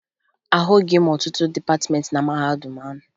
Ahụghị m ọtụtụ dịpatịmeentị na mahadum ahụ